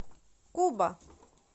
куба